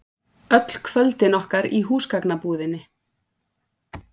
Öll kvöldin okkar í húsgagnabúðinni.